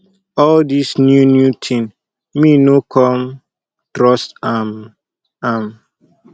all this new new thing me no come trust am am